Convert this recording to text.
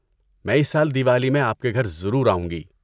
میں اس سال دیوالی میں آپ کے گھر ضرور آؤں گی۔